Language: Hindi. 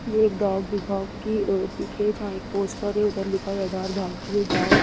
ये एक डाक विभाग की पिक है जहाँ एक पोस्ट है और उधर लिखा है आधार भारतीय डाक।